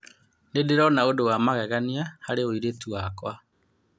" Ndirona ũndũ wa magegania harĩ ũritũ wakwa.